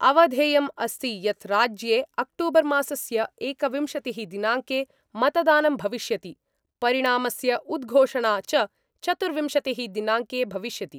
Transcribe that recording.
अवधेयं अस्ति यत् राज्ये अक्टूबर मासस्य एकविंशति: दिनांके मतदानं भविष्यति, परिणामस्य उद्घोषणा च चतुर्विंशतिः दिनांके भविष्यति।